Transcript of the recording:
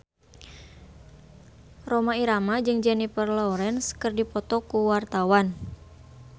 Rhoma Irama jeung Jennifer Lawrence keur dipoto ku wartawan